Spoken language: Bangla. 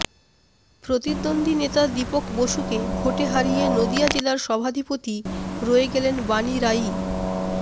প্রতিদ্বন্দী নেতা দীপক বসুকে ভোটে হারিয়ে নদিয়া জেলার সভাধিপতি রয়ে গেলেন বাণী রায়ই